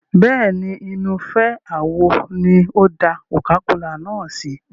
Bẹ́ẹ̀ni, inú ife àwo ni ó da coca-cola náà sí.